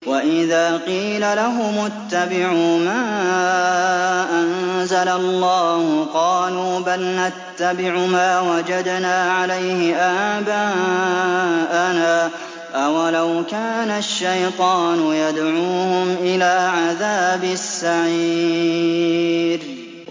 وَإِذَا قِيلَ لَهُمُ اتَّبِعُوا مَا أَنزَلَ اللَّهُ قَالُوا بَلْ نَتَّبِعُ مَا وَجَدْنَا عَلَيْهِ آبَاءَنَا ۚ أَوَلَوْ كَانَ الشَّيْطَانُ يَدْعُوهُمْ إِلَىٰ عَذَابِ السَّعِيرِ